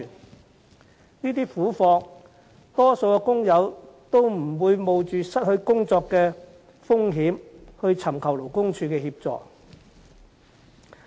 面對這些苦況，大多數的工友也不會冒着失去工作的風險尋求勞工處協助。